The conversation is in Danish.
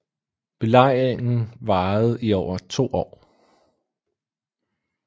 Belejringen varede i over to år